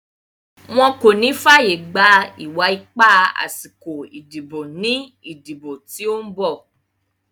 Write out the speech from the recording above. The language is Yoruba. Wọn kò ní fàyègba ìwà ipá àsìkò ìdìbò ní ìdìbò tí ó ń bọ̀.